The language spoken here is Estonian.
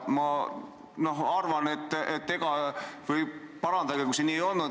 Parandage, kui see nii ei olnud!